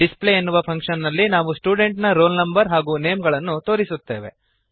display ಎನ್ನುವ function ನಲ್ಲಿ ನಾವು ಸ್ಟೂಡೆಂಟ್ ನ ರೋಲ್ ನಂ ಹಾಗೂ ನೇಮ್ ಗಳನ್ನು ತೋರಿಸುತ್ತೇವೆ